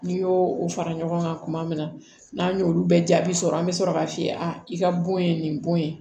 N'i y'o o fara ɲɔgɔn kan tuma min na n'an y'olu bɛɛ jaabi sɔrɔ an bɛ sɔrɔ k'a f'i ye i ka bon ye nin bon ye